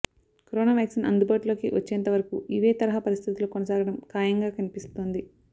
corona vaccine అందుబాటులోకి వచ్చేంత వరకూ ఇవే తరహా పరిస్థితులు కొనసాగడం ఖాయంగా కనిపిస్తోంది